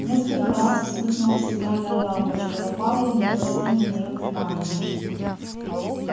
несколько раз вспыхнула сигнальная лампочка но пауэлл не обратил на неё внимания